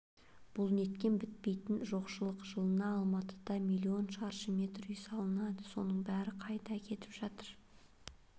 бұл неткен бітпейтін жоқшылық жылына алматыда миллион шаршы метр үй салынады соның бәрі қайда кетіп жатыр